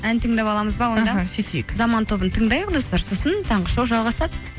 ән тыңдап аламыз ба онда іхі сөйтейік заман тобын тыңдайық достар сосын таңғы шоу жалғасады